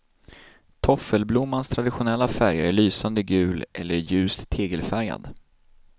Toffelblommans traditionella färger är lysande gul eller ljust tegelfärgad.